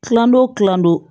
Kilando kilando